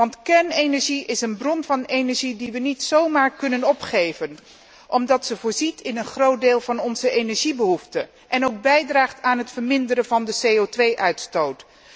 Want kernenergie is een bron van energie die wij niet zomaar kunnen opgeven, omdat zij voorziet in een groot deel van onze energiebehoefte en ook bijdraagt aan de vermindering van de CO 2 uitstoot.